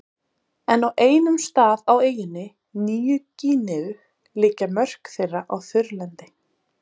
En á einum stað, á eyjunni Nýju-Gíneu liggja mörk þeirra á þurrlendi.